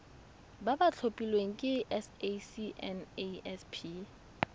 ba ba tlhophilweng ke sacnasp